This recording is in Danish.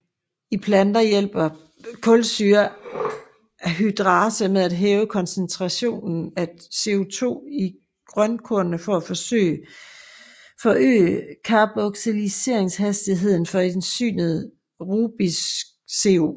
I planter hjælper kulsyreanhydrase med at hæve koncentrationen af CO2 i grønkornene for at forøge carboxyleringshastigheden for enzymet RuBisCO